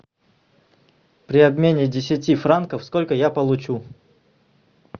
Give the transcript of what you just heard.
при обмене десяти франков сколько я получу